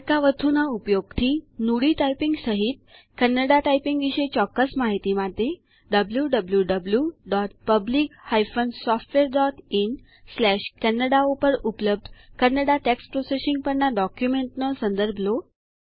અર્કવથુંના ઉપયોગથી નુડી ટાઈપીંગ સહિત કન્નડા ટાઈપીંગ વિશે ચોક્કસ માહિતી માટે wwwPublic SoftwareinKannada ઉપર ઉપલબ્ધ કન્નડા ટેક્સ્ટ પ્રોસેસિંગ પરના ડોક્યુમેન્ટનો સંદર્ભ લો